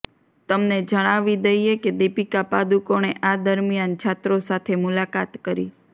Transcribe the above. તમને જણાવી દઈએ કે દીપિકા પાદુકોણે આ દરમિયાન છાત્રો સાથે મુલાકાત કરી